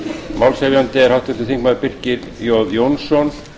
málshefjandi er háttvirtur þingmaður birkir jón jónsson